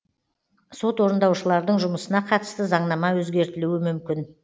сот орындаушылардың жұмысына қатысты заңнама өзгертілуі мүмкін